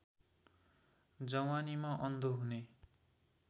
जवानीमा अन्धो हुने